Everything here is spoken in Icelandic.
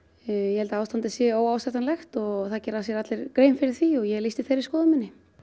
ég held að ástandið sé óásættanlegt og það gera sér allir grein fyrir því ég lýsti þeirri skoðun minni